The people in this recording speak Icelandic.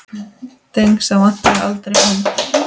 Dengsa vantaði aldrei hönd.